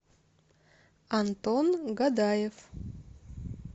антон гадаев